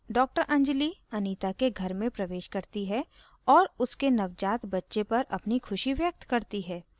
doctor anjali Anita के घर में प्रवेश करती है और उसके नवजात बच्चे पर अपनी खुशी व्यक्त करती है